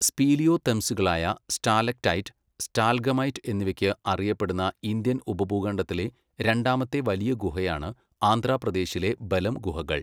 സ്പീലിയോതെംസുകളായ stalactite, stalagmite എന്നിവയ്ക്ക് അറിയപ്പെടുന്ന Indian ഉപഭൂഖണ്ഡത്തിലെ രണ്ടാമത്തെ വലിയ ഗുഹയാണ് ആന്ധ്രാപ്രദേശിലെ ബെലം ഗുഹകൾ.